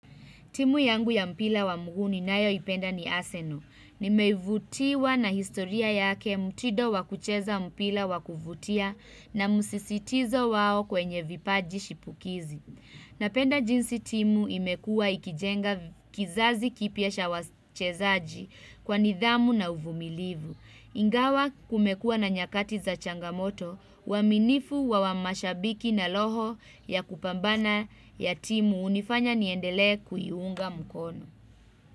Timu yangu ya mpira wa mguu ninayoipenda ni Arsenal. Nimevutiwa na historia yake mtindo wakucheza mpira wakuvutia na musisitizo wao kwenye vipaji shipukizi. Napenda jinsi timu imekua ikijenga kizazi kipia cha wachezaji kwa nidhamu na uvumilivu. Ingawa kumekua na nyakati za changamoto uaminifu wa wa mashabiki na roho ya kupambana ya timu hunifanya niendelee kuiunga mukono.